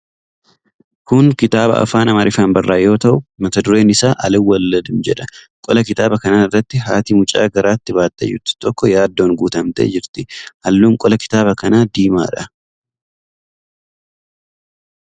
Kun kitaaba afaan Amaariffaan barraa'e yoo ta'u, mata dureen isaa "Aalwaldim" jedha. Qola kitaaba kanaa irratti haati mucaa garaatti baattee jirtu tokko yaaddoon guutamtee jirti. Halluun qola kitaaba kanaa diimaadha.